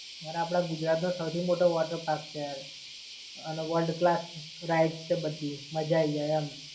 અને આપણા ગુજરાત નો સૌથી મોટો water park છે, અને worldclass rides છે બધી મજા આયી જાય એમ.